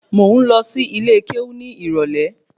Mo ń lọ sí ilé kéwú ní ìrólé